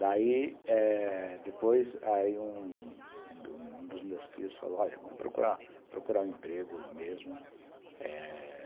Daí, eh, depois, aí um dos meus tios falou, olha, vamos procurar procurar um emprego mesmo, eh